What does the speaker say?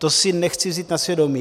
To si nechci vzít na svědomí.